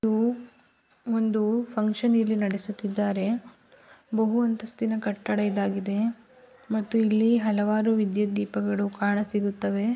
ಇದು ಒಂದು ಫಂಕ್ಷನ್ ಇಲ್ಲಿ ನಡೆಸುತ್ತಿದ್ದಾರೆ ಬಹು ಅಂತಸ್ತಿನ ಕಟ್ಟಡ ಇದಾಗಿದೆ ಮತ್ತು ಇಲ್ಲಿ ಹಲವಾರು ವಿದ್ಯುತ್ ದೀಪಗಳು ಕಾಣ ಸಿಗುತ್ತವೆ.